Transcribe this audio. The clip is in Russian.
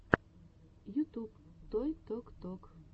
ютюб той ток ток